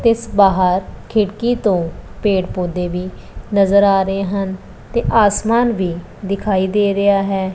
ਤੇ ਇਸ ਬਾਹਰ ਖਿੜਕੀ ਤੋਂ ਪੇੜ ਪੌਦੇ ਵੀ ਨਜ਼ਰ ਆ ਰਹੇ ਹਨ ਤੇ ਆਸਮਾਨ ਵੀ ਦਿਖਾਈ ਦੇ ਰਿਹਾ ਹੈ।